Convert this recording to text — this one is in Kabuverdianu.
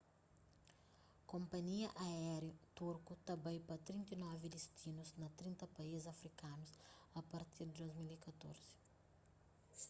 konpanhia aériu turku ta bai pa 39 distinus na 30 país afrikanus a partir di 2014